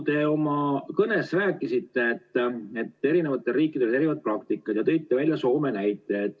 Te oma kõnes rääkisite, et eri riikidel on erinevad praktikad, ja tõite välja Soome näite.